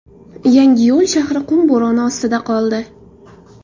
Yangiyo‘l shahri qum bo‘roni ostida qoldi.